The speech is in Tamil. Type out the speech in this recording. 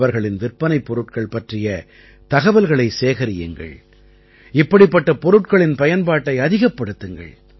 அவர்களின் விற்பனைப் பொருட்கள் பற்றிய தகவல்களைச் சேகரியுங்கள் இப்படிப்பட்ட பொருட்களின் பயன்பாட்டை அதிகப்படுத்துங்கள்